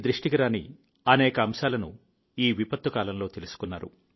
మీ దృష్టికి రాని అనేక అంశాలను ఈ విపత్తు కాలంలో మీరు తెలుసుకున్నారు